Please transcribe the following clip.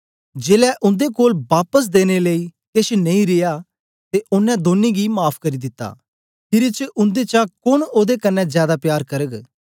जेलै उन्दे कोल बापस देने लेई केछ नेई रिया ते ओनें दौनीं गी माफ़ करी दिता खीरी च उन्देचा कोन ओदे कन्ने जादै प्यार करग